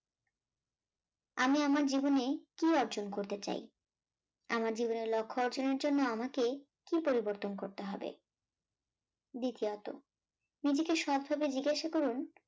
আমি আমার জীবনে কি অর্জন করতে চাই, আমার জীবনের লক্ষ্য অর্জন এর জন্য আমাকে কি পরিবর্তন করতে হবে দ্বিতীয়ত নিজেকে শত ভাবে জিজ্ঞাসা করুন